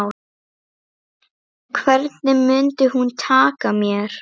Hvernig mundi hún taka mér?